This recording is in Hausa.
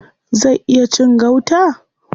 Zai iya cin gauta?